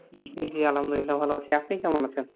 আলামদুল্লা ভালো আছি আপনি কেমন আছেন?